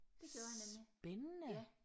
Spændende